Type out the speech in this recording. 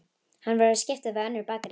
Hann verður að skipta við önnur bakarí.